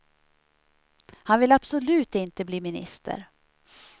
Han vill abslut inte bli minister.